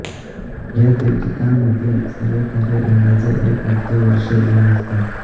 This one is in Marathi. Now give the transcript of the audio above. या दीर्घिकांमधील सर्व तारे अंदाजे एक अब्ज वर्ष जुने असतात